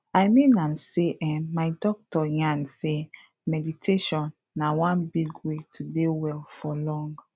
i mean am sey eh my doctor yarn sey meditation na one big way to dey well for long